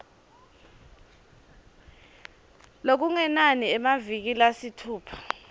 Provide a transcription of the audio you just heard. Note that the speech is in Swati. lokungenani emaviki lasitfupha